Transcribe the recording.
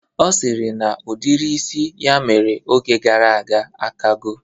Ọ sịrị na udiri isi ya mere oge gara aga akago